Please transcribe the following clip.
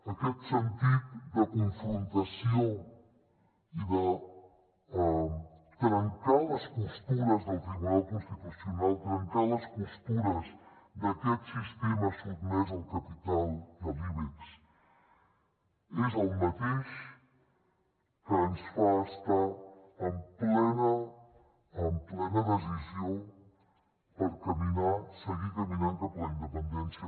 aquest sentit de confrontació i de trencar les costures del tribunal constitucional trencar les costures d’aquest sistema sotmès al capital i a l’ibex és el mateix que ens fa estar en plena decisió per caminar seguir caminant cap a la independència